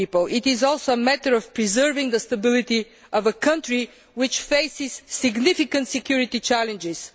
It is also a matter of preserving the stability of a country which faces significant security challenges.